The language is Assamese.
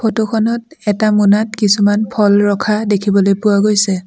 ফটো খনত এটা মোনাত কিছুমান ফল ৰখা দেখিবলৈ পোৱা গৈছে।